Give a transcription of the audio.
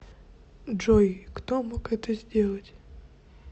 джой кто мог это сделать